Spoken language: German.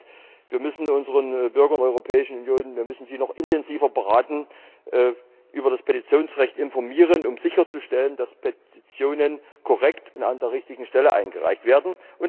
Das heißt Wir müssen die Bürger der Europäischen Union noch intensiver beraten und über das Petitionsrecht informieren, um sicherzustellen, dass Petitionen korrekt und an der richtigen Stelle eingereicht werden.